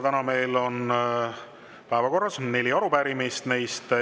Täna meil on päevakorras neli arupärimist.